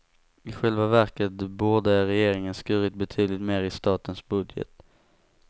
I själva verket borde regeringen skurit betydligt mer i statens budget.